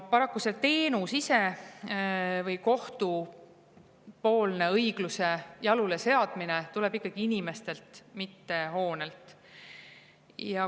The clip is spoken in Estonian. Paraku see teenus ise või kohtupoolne õigluse jalule seadmine tuleb ikkagi inimestelt, mitte hoonelt.